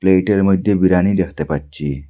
পেটের মইধ্যে বিরানি দেখতে পাচ্ছি।